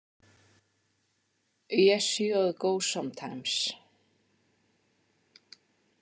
Yes, joð go sometimes.